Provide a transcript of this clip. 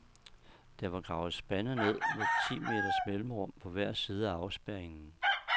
Der var gravet spande ned med ti meters mellemrum på hver side af afspærringen.